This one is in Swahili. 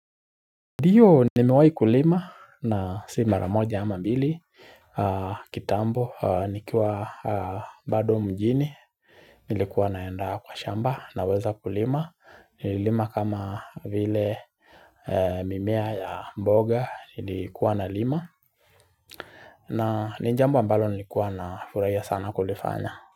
Ndiyo ni mewai kulima na si maramoja ama mbili kitambo nikiwa bado mjini nilikuwa naenda kwa shamba naweza kulima nililima kama vile mimea ya mboga nilikuwa na lima na ni jambo ambalo nilikuwa na furaia sana kulifanya.